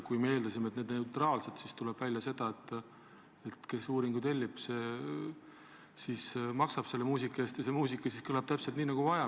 Me eeldasime, et need on neutraalsed, aga tuleb välja, et kes uuringu tellib, see siis maksab selle muusika eest ja see muusika kõlab täpselt nii, nagu vaja.